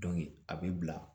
a bɛ bila